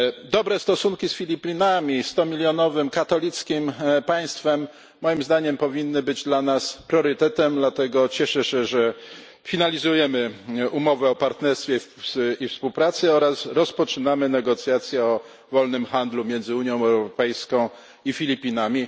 Dobre stosunki z Filipinami stumilionowym, katolickim państwem powinny, moim zdaniem, być dla nas priorytetem i dlatego cieszę się, że finalizujemy umowę o partnerstwie i współpracy oraz rozpoczynamy negocjacje o wolnym handlu między Unią Europejską i Filipinami.